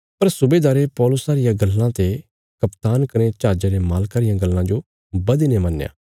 पर सुबेदारे पौलुसा रिया गल्लां ते कप्तान कने जहाजा रे मालका रियां गल्लां जो बधीने मन्नया